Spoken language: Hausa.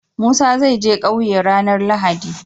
Musa zai je ƙauye ranar lahadi